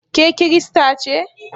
Ke Kirista ce?